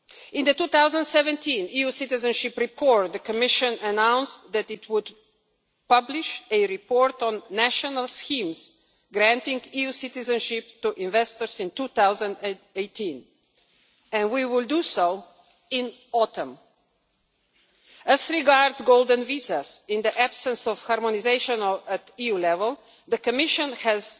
In the 2017 EU Citizenship Report, the Commission announced that it would publish a report on national schemes granting EU citizenship to investors in 2018, and we will do so in autumn. As regards golden visas, in the absence of harmonisation at EU level, the Commission has